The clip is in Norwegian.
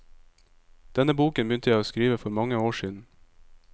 Denne boken begynte jeg å skrive for mange år siden.